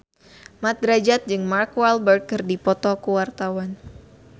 Mat Drajat jeung Mark Walberg keur dipoto ku wartawan